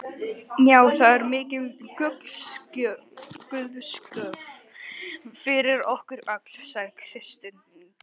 Já, það er mikil guðsgjöf fyrir okkur öll, sagði Kristín.